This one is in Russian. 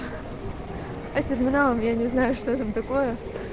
а с терминалом я не знаю что там такое